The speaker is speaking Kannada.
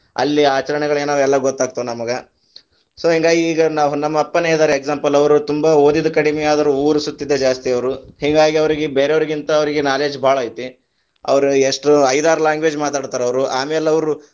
ಅಲ್ಲಿ ಅಚರಣೆಗಳೆನಾವ ಎಲ್ಲಾ ಗೊತ್ತಾಗತಾವ ನಮಗ, so ಹಿಂಗಾಗಿ ಈಗ ನಾವ ನಮ್ಮ ಅಪ್ಪಾನೆ ಇದಾರೆ example ಅವರು ತುಂಬಾ ಓದಿದ ಕಡಿಮೆ ಆದ್ರೂ ಊರ ಸುತ್ತಿದ್ದೇ ಜಾಸ್ತಿ ಅವರ, ಹಿಂಗಾಗಿ ಅವ್ರೀಗೆ ಬೇರೆವ್ರೀಗಿಂತ ಅವ್ರಿಗೆ knowledge ಭಾಳ ಐತಿ, ಅವ್ರ ಎಷ್ಟ ಐದಾರ್ language ಮಾತಾಡತಾರ ಅವ್ರು, ಆಮೇಲ್ ಅವ್ರು.